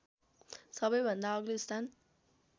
सबैभन्दा अग्लो स्थान